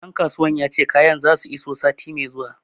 Ɗan kasuwan ya ce kayan za su iso sati mai zuwa